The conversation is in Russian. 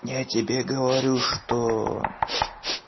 я тебе говорю что